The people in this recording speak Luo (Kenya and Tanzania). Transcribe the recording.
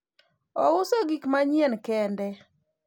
ouso gik manyien kende